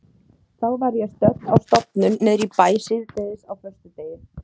Þá var ég stödd á stofnun niðri í bæ síðdegis á föstudegi.